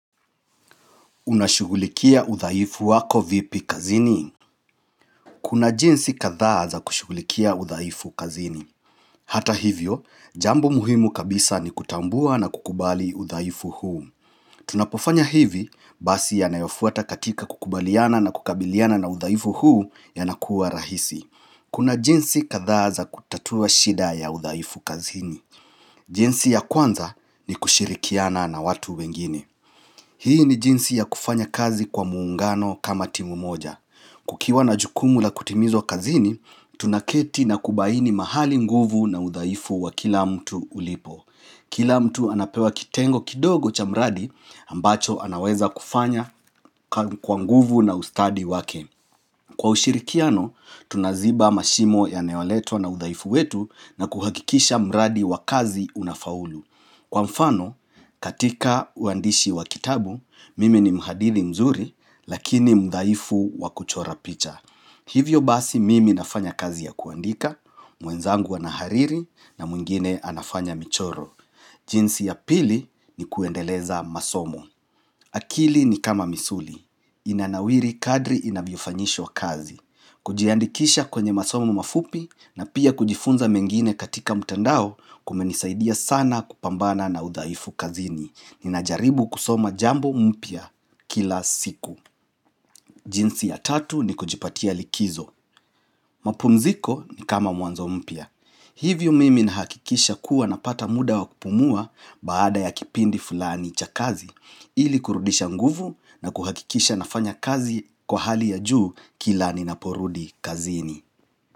Unashugulikia udhaifu wako vipi kazini? Kuna jinsi kadha za kushugulikia udhaaifu kazini. Hata hivyo, jambo muhimu kabisa ni kutambua na kukubali udhaifu huu. Tunapofanya hivi basi yanayofuata katika kukubaliana na kukabiliana na uthaifu huu yanakuwa rahisi. Kuna jinsi kathaaza kutatua shida ya uthaifu kazini. Jinsi ya kwanza ni kushirikiana na watu wengine. Hii ni jinsi ya kufanya kazi kwa muungano kama timu moja. Kukiwa na jukumu la kutimizwa kazini, tunaketi na kubaini mahali nguvu na udhaifu wa kila mtu ulipo. Kila mtu anapewa kitengo kidogo cha mradi ambacho anaweza kufanya kwa nguvu na ustadi wake. Kwa ushirikiano, tunaziba mashimo yanayoletwa na udhaifu wetu na kuhakikisha mradi wa kazi unafaulu. Kwa mfano, katika uandishi wa kitabu, mimi ni mhadiri mzuri, lakini mudhaifu wa kuchora picha. Hivyo basi mimi nafanya kazi ya kuandika, mwenzangu anahariri na mwingine anafanya michoro. Jinsi ya pili ni kuendeleza masomo. Akili ni kama misuli. Inanawiri kadri inavyofanyishwa kazi. Kujiandikisha kwenye masomo mafupi na pia kujifunza mengine katika mtandao kumenisaidia sana kupambana na udhaifu kazini Ninajaribu kusoma jambo mpya kila siku jinsi ya tatu ni kujipatia likizo mapumziko ni kama mwanzo mpya Hivyo mimi na hakikisha kuwa na pata muda wa kupumua baada ya kipindi fulani cha kazi Ili kurudisha nguvu na kuhakikisha nafanya kazi kwa hali ya juu kila ninaporudi kazini.